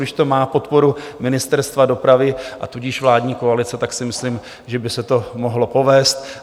Když to má podporu Ministerstva dopravy, a tudíž vládní koalice, tak si myslím, že by se to mohlo povést.